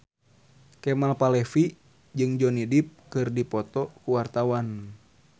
Kemal Palevi jeung Johnny Depp keur dipoto ku wartawan